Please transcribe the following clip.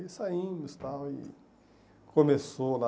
Aí saindo e tal, e começou lá...